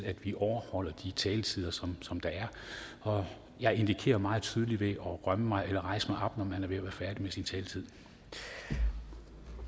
at vi overholder de taletider som som der er og jeg indikerer meget tydeligt ved at rømme mig eller rejse mig op når man er ved at være færdig med sin taletid